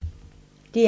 DR1